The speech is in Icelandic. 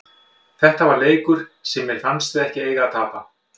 Þetta var leikur sem mér fannst við ekki eiga að tapa.